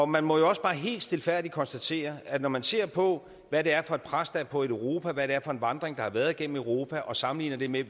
man må jo også bare helt stilfærdigt konstatere at når man ser på hvad det er for et pres der er på europa hvad det er for en vandring der har været igennem europa og sammenligner det med